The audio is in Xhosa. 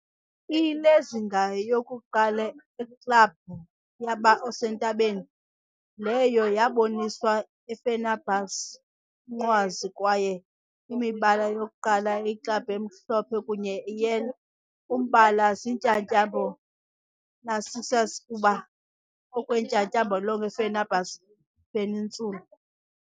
I lezinga yokuqala eklabhu yaba osentabeni, leyo yaboniswa Fenerbahce umnqwazi, kwaye imibala yokuqala club emhlophe kunye yellow- umbala ziintyatyambo Narcissus ukuba okwentyatyambo lonke Fenerbahçe peninsula.